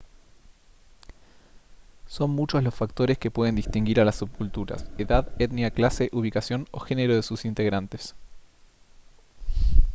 son muchos los factores que pueden distinguir a las subculturas edad etnia clase ubicación o género de sus integrantes